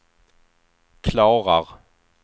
klarar